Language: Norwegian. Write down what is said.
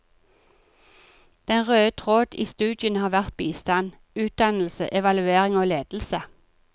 Den røde tråd i studiene har vært bistand, utdannelse, evaluering og ledelse.